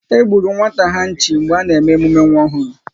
E gburu nwata ha nchi mgbe a na-eme emume nwa ọhụrụ